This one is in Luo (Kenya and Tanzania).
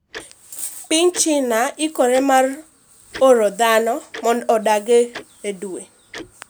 Piny China ikore mar oro dhano mondo odag e dwe